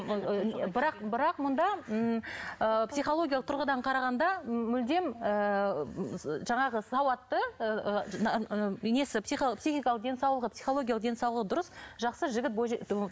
ыыы бірақ бірақ мұнда ыыы писхологиялық тұрғыдан қарағанда мүлдем ыыы жаңағы сауатты несі психикалық денсаулығы писхологиялық денсаулығы дұрыс жақсы жігіт